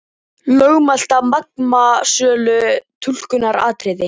Lögmæti Magma sölu túlkunaratriði